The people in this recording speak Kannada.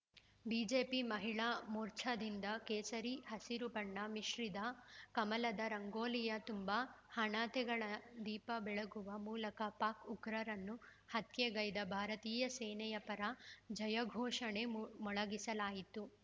ಬಿಜೆಪಿ ಮಹಿಳಾ ಮೋರ್ಚಾದಿಂದ ಕೇಸರಿ ಹಸಿರು ಬಣ್ಣ ಮಿಶ್ರಿದ ಕಮಲದ ರಂಗೋಲಿಯ ತುಂಬಾ ಹಣತೆಗಳ ದೀಪ ಬೆಳಗುವ ಮೂಲಕ ಪಾಕ್‌ ಉಗ್ರರನ್ನು ಹತ್ಯೆಗೈದ ಭಾರತೀಯ ಸೇನೆಯ ಪರ ಜಯಘೋಷಣೆ ಮು ಮೊಳಗಿಸಲಾಯಿತು